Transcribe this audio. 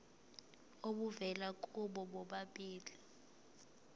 obuvela kubo bobabili